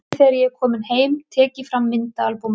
Um kvöldið þegar ég er kominn heim tek ég fram myndaalbúmið.